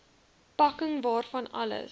pakking waarvan alles